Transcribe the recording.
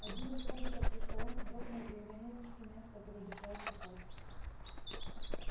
один из роботов за столом вздрогнул и уронил инструмент который держал в руках